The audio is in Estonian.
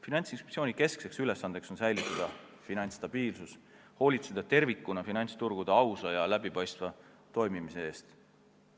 Finantsinspektsiooni kesksed ülesanded on säilitada finantsstabiilsus ning hoolitseda tervikuna finantsturgude ausa ja läbipaistva toimimise eest.